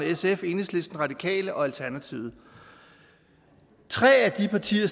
sf enhedslisten radikale og alternativet tre af de partier